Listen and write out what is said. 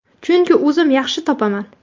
Chunki o‘zim yaxshi topaman.